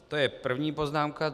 To je první poznámka.